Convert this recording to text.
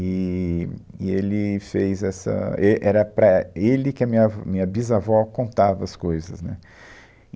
E, e ele fez essa... É, Era para ele que a minha vó, minha bisavó contava as coisas, né?